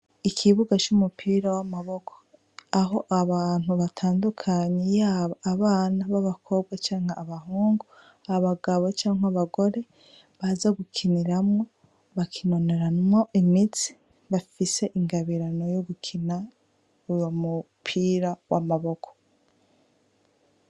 Ikibuga c'umupira w'amaboko, aho abantu batandukanye yaba abana b'abakobwa canke b'abahungu, abagabo canke abagore baza gukiniramwo, bakinonoramwo imitsi, bafise ingabirano yo gukina uwo mupira w'amaboko.